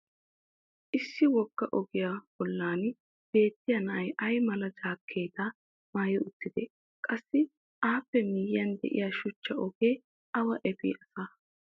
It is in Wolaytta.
issi wogga ogiyaa bollan beettiya na"ay ay mala jaakeettaa maayi uttidee? qassi appe miyiyan diya shuchcha ogee awa efii asaa?